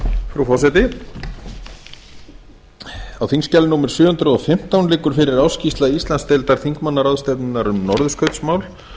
frú forseti á þingskjali sjö hundruð og fimmtán liggur fyrir ársskýrsla íslandsdeildar þingmannaráðstefnunnar um norðurskautsmál